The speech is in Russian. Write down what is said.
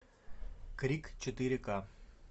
крик четыре ка